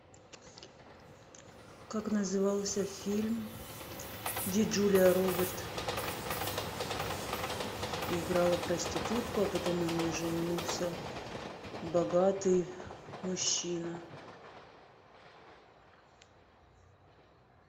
как назывался фильм где джулия робертс играла проститутку а потом на ней женился богатый мужчина